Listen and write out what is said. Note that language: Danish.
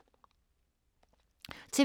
TV 2